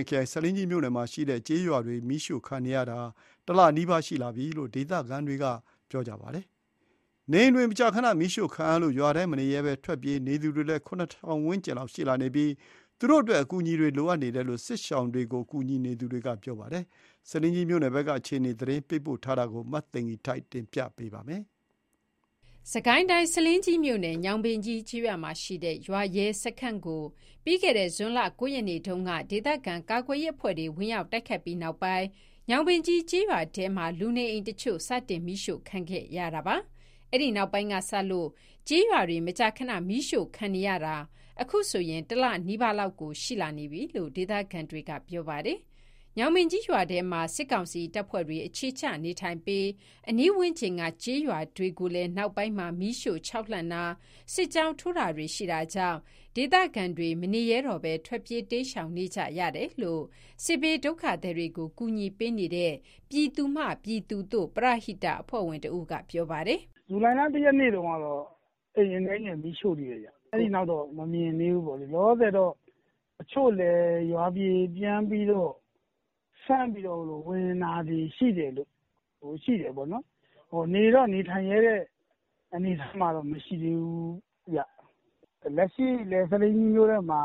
င်ခရိုင်၊ ဆားလင်းကြီးမြို့နယ်မှာရှိတဲ့ ကျေးရွာတွေ မီးရှို့ခံနေရတာ ၁ လနီးပါးရှိလာပြီလို့ ဒေသခံတွေကပြောပါတယ်။ နေအိမ်တွေ မကြာခန မီးရှို့ခံရလို့ ရွာထဲမနေရဲဘဲ ထွက်ပြေးနေသူတွေလည်း ၇၀၀၀ ဝန်းကျင်လောက် ရှိလာနေပြီး သူတို့အတွက် အကူအညီတွေ လိုအပ်နေတယ်လို့ စစ်ရှောင်တွေကို ကူညီနေသူတွေက ပြောပါတယ်။ ဆားလင်းကြီးမြို့နယ်ဖက်က အခြေအနေ သတင်းပေးပို့ထားတာကို မသိဂီင်္ထိုက် တင်ပြပေးပါမယ်။ စစ်ကိုင်းတိုင်း၊ ဆားလင်းကြီးမြို့နယ်၊ ညောင်ပင်ကြီးကျေးရွာမှာရှိတဲ့ ရွာရဲစခန်းကို ပြီးခဲ့တဲ့ ဇွန်လ ၉ ရက်နေ့တုန်းက ဒေသခံကာကွယ်ရေးအဖွဲ့တွေဝင်ရောက် တိုက်ခိုက်ခဲ့ပြီးတဲ့နောက်ပိုင်း ညောင်ပင်ကြီး ကျေးရွာထဲမှာ လူနေအိမ်တချို့စတင် မီးရှို့ခံခဲ့ရတာပါ။ အဲ့ဒီနောက်ပိုင်းကစလို့ ကျေးရွာတွေ မကြာခဏ မီးရှို့ခံနေရတာ အခုဆိုရင် တလ နီးပါးလောက်ကို ရှိလာနေပြီလို့ ဒေသခံတွေက ပြောပါတယ်။ ညောင်ပင်ကြီးရွာထဲမှာ စစ်ကောင်စီတပ်ဖွဲ့တွေ အခြေချနေထိုင်ပြီး အနီးဝန်းကျင်က ကျေးရွာတွေကိုလည်း နောက်ပိုင်းမှာ မီးရှို့ခြောက်လှန့်တာ၊ စစ်ကြောင်းထိုးတာတွေ ရှိတာကြောင့် ဒေသခံတွေ မနေရဲတော့ဘဲ ထွက်ပြေး တိမ်းရှောင်နေကြရတယ်လို့ စစ်ဘေးဒုက္ခသည်တွေကို ကူညီပေးနေတဲ့ ပြည်သူမှပြည်သူသို့ ပရဟိတအဖွဲ့ဝင်တဦးက ပြောပါတယ်။ "ဇူလိုင်လ ၁ ရက်နေ့တုန်းကတော့ အိမ်အနည်းငယ် မီးရှို့သေးတယ်ဗျ။ အဲဒီနောက်တော့ မမြင်သေးဘူး။ လောလောဆယ်တော့ တချို့လည်း ရွာထဲပြန်ပြီးတော့ စမ်းပြီးဝင်တာတွေ ရှိတယ်ပေါ့နော်။ နေတော့ နေထိုင်ရဲတဲ့ အနေအထားမှာတော့ မရှိသေးဘူးဗျ။ လက်ရှိလည်း ဆားလင်းကြီးမြို့ထဲမှာ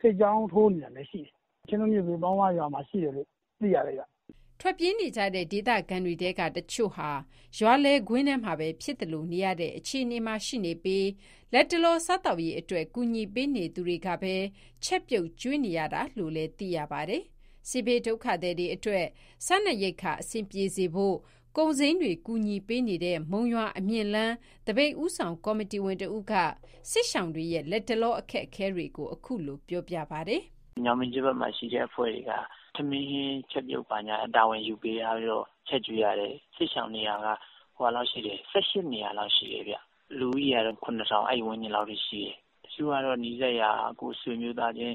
စစ်ကြောင်း ထိုးနေတာလည်း ရှိတယ်။ ချင်းတွင်းမြစ်ဘေး ပေါင်းဝရွာမှာရှိတယ်လို့ သိရတယ်ဗျ။" ထွက်ပြေးနေကြတဲ့ ဒေသခံတွေထဲက တချို့ဟာ ရွာလယ်ကွင်းထဲမှာပဲ ဖြစ်သလိုနေရတဲ့ အခြေအနေမှာ ရှိနေပြီး လတ်တလောစားသောက်ရေးအတွက် ကူညီပေးနေသူတွေကပဲ ချက်ပြုတ် ကျွေးနေတာလို့လည်း သိရပါတယ်။ စစ်ဘေးဒုက္ခသည်တွေ အတွက် စားနပ်ရိက္ခာ အဆင်ပြေစေဖို့ ကုန်စိမ်းတွေ ကူညီပေးနေတဲ့ မုံရွာ-အမြင့်လမ်း သပိတ်ဦးဆောင် ကော်မတီဝင်တဦးက စစ်ရှောင်တွေရဲ့ လတ်တလော အခက်အခဲတွေကို ခုလို ပြောပြပါတယ်။ "ညောင်ပင်ကြီးဘက်မှာရှိတဲ့ အဖွဲ့တွေက ထမင်း၊ ဟင်းချက်ပြုတ်တာ တာဝန်ယူထားပြီးတော့ ချက်ကျွေး ရတယ်။ စစ်ရှောင်နေတာက ၁၈ နေရာလောက် ရှိတယ်ဗျ။ လူဦးရေကတော့ ၇ ထောင်ဝန်းကျင်လောက် အထိ ရှိတယ်။ တချို့ကတော့ နီးစပ်ရာ ကိုယ့်ဆွေမျိုးသားချင်း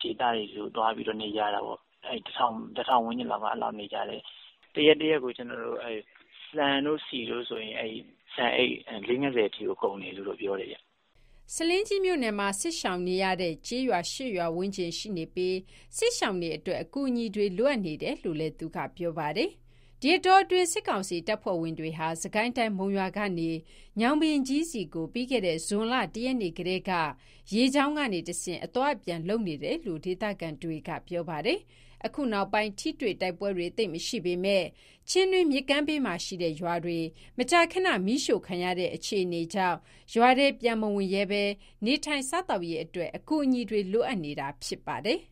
ဒေသတွေဆီကို သွားပြီးတော့ နေကြတာ ပေါ့၊ အဲဒါကတော့ ၁ ထောင်ဝန်းကျင်လောက်ရှိတယ်။ တရက် တရက်ကို ဆန်နဲ့ဆီဆိုရင်... ဆန်အိတ် ၄၀-၅၀ အထိကို ကုန်တယ်လို့ ပြောတယ်ဗျ။" ဆားလင်းကြီးမြို့နယ်မှာ စစ်ရှောင်နေရတဲ့ ကျေးရွာ ၈ ရွာဝန်းကျင် ရှိနေပြီး၊ စစ်ရှောင်တွေအတွက် အကူအညီတွေ လိုအပ်နေတယ်လို့လည်း သူက ပြောပါတယ်။ ဒီအတောအတွင်း စစ်ကောင်စီ တပ်ဖွဲ့ဝင်တွေဟာ စစ်ကိုင်းတိုင်း၊ မုံရွာကနေ ညောင်ပင်ကြီးဆီကို ပြီးခဲ့တဲ့ ဇွန်လ ၁ ရက်နေ့ကတည်းက ရေကြောင်းကနေတဆင့် အသွားအပြန် လုပ်နေတယ်လို့ ဒေသခံတွေက ပြောပါတယ်။ အခုနောက်ပိုင်း ထိတွေ့တိုက်ပွဲတွေ သိပ်မရှိပေမဲ့ ချင်းတွင်းမြစ်ကမ်းဘေးမှာရှိတဲ့ ရွာတွေ မကြာခန မီးရှို့ခံရတဲ့ အခြေအနေကြောင့် ရွာထဲပြန်မဝင်ရဲဘဲ၊ နေထိုင်စားသောက်ရေးအတွက် အကူအညီ တွေ လိုအပ်နေတာ ဖြစ်ပါတယ်။